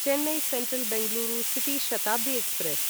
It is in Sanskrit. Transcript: Chennai central Bengaluru city Shatabdi express